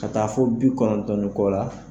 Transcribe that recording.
Ka taa fo bi kɔnɔntɔn ni kɔ la